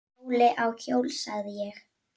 Óli á hjól, sagði ég.